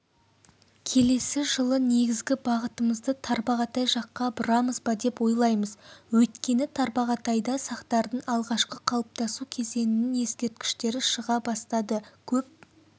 келесі жылы негізгі бағытымызды тарбағатай жаққа бұрамыз ба деп ойлаймыз өйткені тарбағатайда сақтардың алғашқы қалыптасу кезеңінің ескерткіштері шыға бастады көп